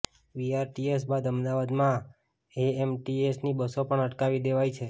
BRTS બાદ અમદાવાદમાં એએમટીએસની બસો પણ અટકાવી દેવાઈ છે